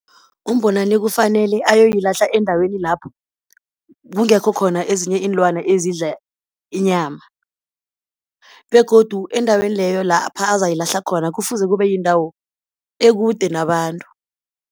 UMbonani kufanele ayoyilahla endaweni lapho kungekho khona ezinye iinlwana ezidla inyama begodu endaweni leyo lapha azayilahla khona kufuze kube yindawo ekude nabantu.